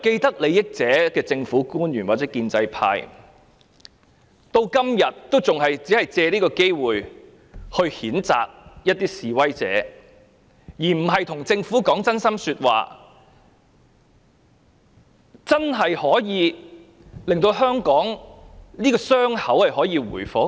不過，政府官員或建制派是既得利益者，至今仍然經常借機會譴責示威者，而並非向政府說真心話，使香港的傷口可以真正復原。